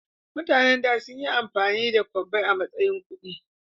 mutanen da sunyi amfani da kwabbai matsayin kudi